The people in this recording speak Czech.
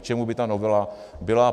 K čemu by ta novela byla?